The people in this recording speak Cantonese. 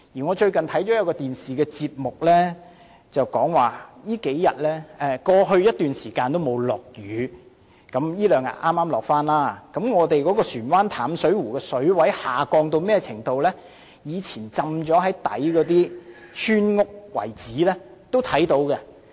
我最近收看一個電視節目，指出過去已有好一陣子沒有下雨——最近數天剛好下雨了——本港船灣淡水湖的水位下降至一個程度，就連在水底的村屋遺址也能看到了。